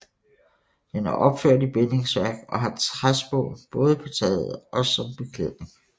Den er opført i bindingsværk og har træspån både på taget og som beklædning